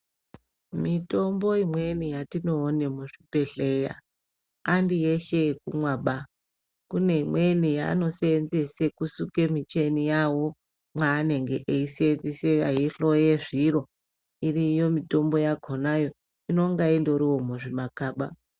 Mitombo imweni yatione muzvibhehlera handiyeshe yekumwaba, kune imweni yaanoseenzese kusuke micheni yawo mwaanenge eihloya zviro, iriyo mitombo yakonayo inonga indoriwo muzvimakaba.